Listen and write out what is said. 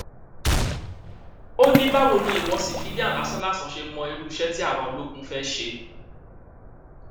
ó ní báwo ni ìwọ ṣífìílàn lásánlàsàn ṣe mọ irú iṣẹ tí àwa ológun fẹẹ ṣe